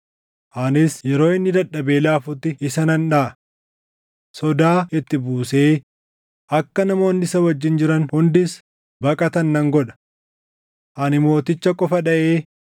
Anis yeroo inni dadhabee laafutti isa nan dhaʼa. Sodaa itti buusee akka namoonni isa wajjin jiran hundis baqatan nan godha. Ani mooticha qofa dhaʼee